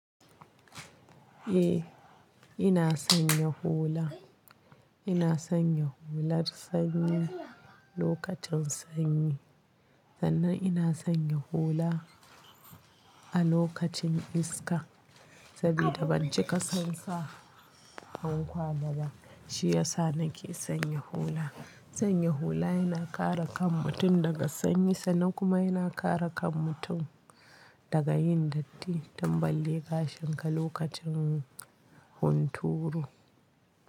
Eh, ina sanya hula. Ina sanya hular sanyi lokacin sanyi sannan ina sanya hula a lokacin iska saboda ban ci kasansa hankwa ba shi yasa nake sanya hula. Sanya hula yana kare kan mutum daga sanyi sa kuma yana kare kan mutum daga yin datti tambale gashin ka lokacin hunturu.